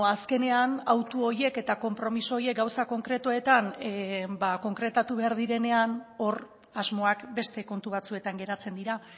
azkenean autu horiek eta konpromiso horiek gauza konkretuetan konkretatu behar direnean hor asmoak beste kontu batzuetan geratzen dira